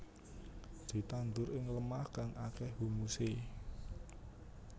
Ditandur ing lemah kang akéh humusé